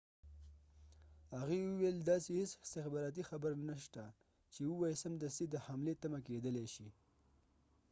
هغې وويل داسې هیڅ استخباراتی خبر نه شته چې ووایي سمدستی د حملی تمه کېدلای شي